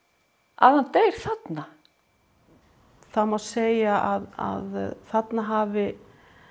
að hann deyr þarna það má segja að þarna hafi